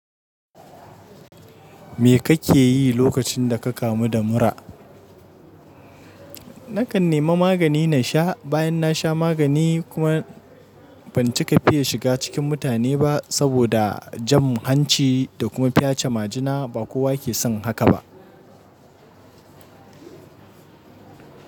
Me kake yi lokacin da ka kamu da mura? Nakan nema magani na sha. Bayan na sha magani kuma ban cika fiye shiga cikin mutane ba saboda jam hanci da kuma fiye ce majina ba kowa ke son haka ba.